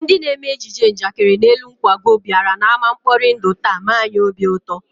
Ndị na-eme ejije njakịrị n'elu nkwago bịara n'ámá mkpori ndụ taa mee anyị obi ụtọ